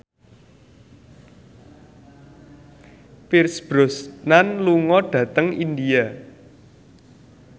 Pierce Brosnan lunga dhateng India